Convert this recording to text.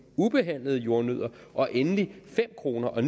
ubehandlede jordnødder og endelig fem kroner per